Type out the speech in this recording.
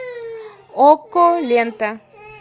окко лента